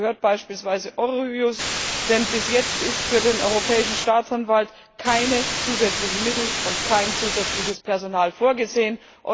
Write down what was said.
Dazu gehört beispielsweise Eurojust, denn bis jetzt sind für den Europäischen Staatsanwalt keine zusätzlichen Mittel und kein zusätzliches Personal vorgesehen.